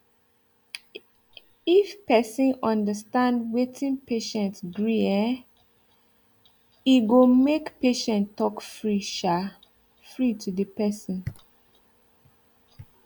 if person understand wetin patient gree um withe go make patient talk free um free to the person